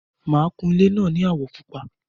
Máa kún ilé náà ní àwọ̀ Pupa